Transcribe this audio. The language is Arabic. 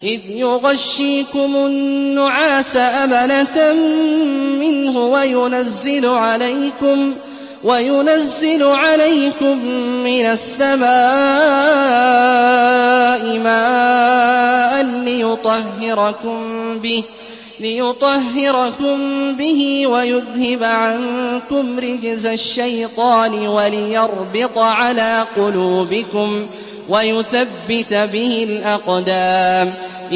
إِذْ يُغَشِّيكُمُ النُّعَاسَ أَمَنَةً مِّنْهُ وَيُنَزِّلُ عَلَيْكُم مِّنَ السَّمَاءِ مَاءً لِّيُطَهِّرَكُم بِهِ وَيُذْهِبَ عَنكُمْ رِجْزَ الشَّيْطَانِ وَلِيَرْبِطَ عَلَىٰ قُلُوبِكُمْ وَيُثَبِّتَ بِهِ الْأَقْدَامَ